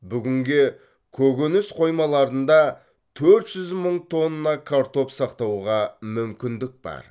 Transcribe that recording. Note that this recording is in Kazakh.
бүгінге көкөніс қоймаларында төрт жүз мың тонна картоп сақтауға мүмкіндік бар